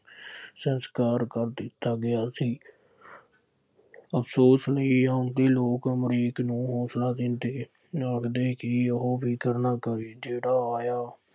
ਸੰਸਕਾਰ ਕਰ ਦਿੱਤਾ ਗਿਆ ਸੀ। ਅਫਸੋਸ ਲਈ ਇਉਂ ਕਿ ਲੋਕ ਅਮਰੀਕ ਨੂੰ ਹੌਸਲਾ ਦਿੰਦੇ, ਆਖਦੇ ਕਿ ਉਹ ਫਿਕਰ ਨਾ ਕਰੇ, ਜਿਹੜਾ ਆਇਆ